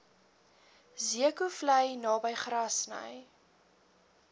zeekoevlei naby grassy